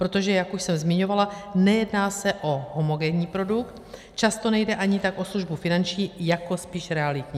Protože jak už jsem zmiňovala, nejedná se o homogenní produkt, často nejde ani tak o službu finanční jako spíš realitní.